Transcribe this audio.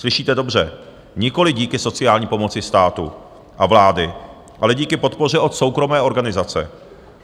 Slyšíte dobře - nikoli díky sociální pomoci státu a vlády, ale díky podpoře od soukromé organizace.